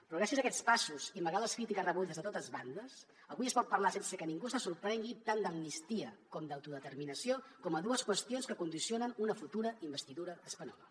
però gràcies a aquests passos i malgrat les crítiques rebudes de totes bandes avui es pot parlar sense que ningú se sorprengui tant d’amnistia com d’autodeterminació com dues qüestions que condicionen una futura investidura espanyola